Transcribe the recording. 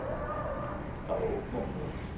Það ógnar mér.